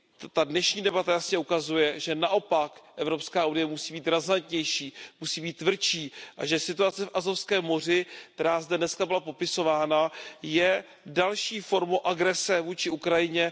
Ta dnešní debata jasně ukazuje, že naopak EU musí být razantnější, musí být tvrdší a že situace v Azovském moři, která zde dnes byla popisována, je další formou agrese vůči Ukrajině.